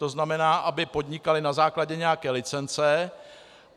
To znamená, aby podnikali na základě nějaké licence.